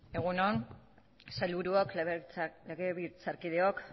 egun on sailburuok legebiltzarkideok